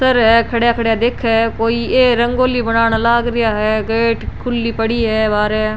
सर है खड़ा खड़ा दिखेया है कोई रंगोली बनाने लाग रिया है गेट खुली पड़ी है बहारे।